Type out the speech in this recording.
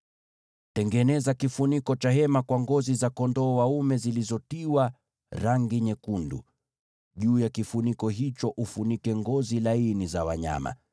Tengeneza kifuniko cha hema kwa ngozi za kondoo dume zilizotiwa rangi nyekundu, na juu yake kifuniko cha ngozi za pomboo.